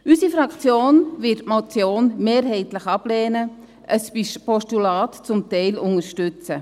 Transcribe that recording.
Unsere Fraktion wird die Motion mehrheitlich ablehnen, ein Postulat zum Teil unterstützen.